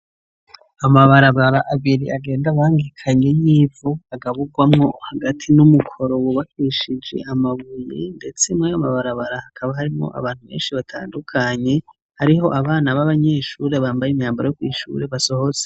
Amabarabara abiri agenda bangikanye y'ivu agaburwamo hagati n'umukoro wubakwishije amabuye ndetse muri amabarabara hakaba harimo abantu benshi batandukanye hariho abana b'abanyeshuri bambaye imyambaro yo kwishuri basohotse.